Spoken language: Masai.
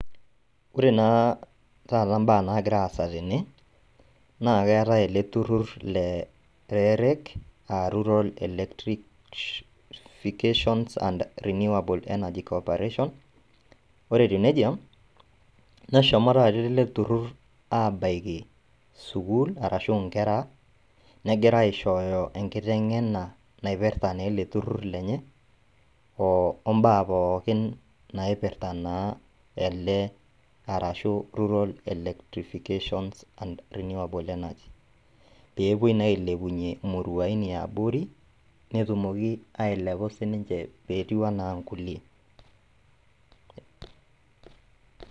Ore naa tata imbaa nagiraasa tene, naa keetai ele turrur le [rerec aa rural electrifications and renewable energy corporation. Ore etiu neija neshomo tata ele turrur aabaiki  sukuul arashu inkera negira aishooyo enkiteng'ena naipirta neele turrur lenye oo mbaa pookin naipirta naa ele arashu rural electrifications and renewable energy. Peepuoi naa ailepunye imuruain eabori netumoki ailepu sininche peetiu anaa nkulie.